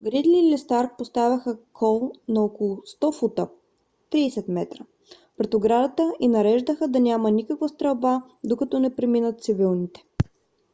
гридли или старк поставяха кол на около 100 фута 30 метра пред оградата и нареждаха да няма никаква стрелба докато не преминат цивилните